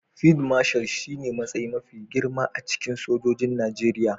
Field Marshal shine matsayi mafi girma a cikin sojojin Najeriya.